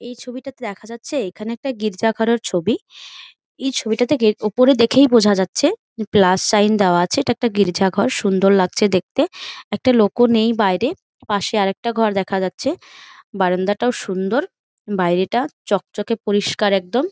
এই ছবিটাতে দেখা যাচ্ছে এখানে একটা গির্জা ঘরের ছবি ।এই ছবিটা থেকে উপরে দেখেই বোঝা যাচ্ছে যে প্লাস সাইন দেওয়া আছে এটা একটা গির্জা ঘর সুন্দর লাগছে দেখতে । একটা লোকও নেই বাইরে পাশে আর একটা ঘর দেখা যাচ্ছে । বারান্দাটাও সুন্দর বাইরেটা চকচকে পরিষ্কার একদম ।